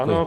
Ano.